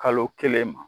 Kalo kelen ma